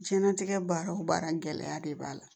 Jiɲɛnatigɛ baara o baara gɛlɛya de b'a la